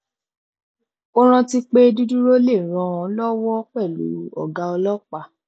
ó rántí pé dídúró lè ràn ọ lọwọ pẹlú ọgá ọlọpàá